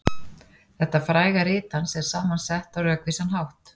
Þetta fræga rit hans er saman sett á rökvísan hátt.